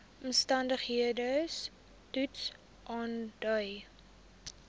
omstandigheids toets aandui